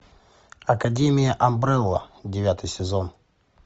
академия амбрелла девятый сезон